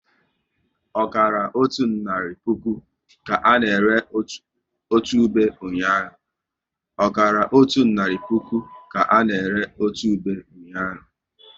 Ọkara otu naira puku ka na ere otu ube ụnyaahụ